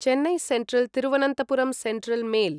Chennai central Thiruvananthapuram central mail